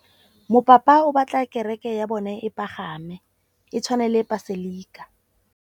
Mopapa o batla kereke ya bone e pagame, e tshwane le paselika.